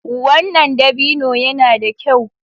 Wannan dabino yana da kyau.